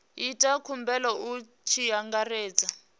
ita khumbelo hu tshi angaredzwa